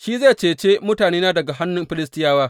Shi zai cece mutanena daga hannun Filistiyawa.